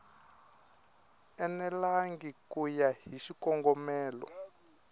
enelangi ku ya hi xikongomelo